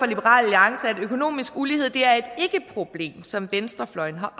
liberal alliance at økonomisk ulighed er et ikkeproblem som venstrefløjen har